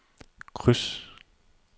kryds